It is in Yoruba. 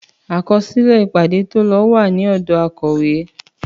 Àkọsílẹ ìpàdé tólo wà ní òdò Akòwé